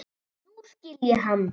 Nú skil ég hann.